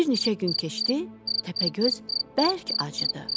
Bir neçə gün keçdi, Təpəgöz bərk acıdı.